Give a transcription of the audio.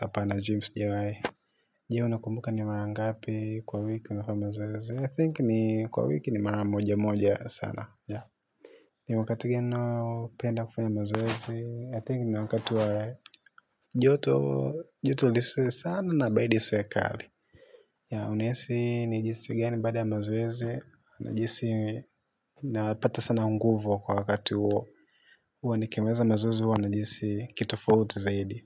Hapana gym sijawahi. Je, unakumbuka ni mara ngapi kwa wiki unafanya mazoezi? I think ni kwa wiki ni mara moja moja sana. Ni wakati gani unaopenda kufanya mazoezi? I think ni wakati wa joto. Joto lisiwe sana na baridi isiwe kali. Unahisi ni jinsi gani baada ya mazoezi? Najihisi napata sana nguvu kwa wakati huo. Huwa nikimaliza mazoezi huwa najihisi kitofauti zaidi.